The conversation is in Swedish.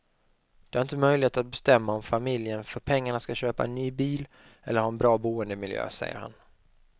De har inte möjlighet att bestämma om familjen för pengarna skall köpa en ny bil eller ha en bra boendemiljö, säger han.